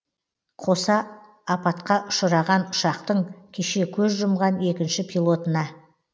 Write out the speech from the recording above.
қоса апатқа ұшыраған ұшақтың кеше көз жұмған екінші пилотына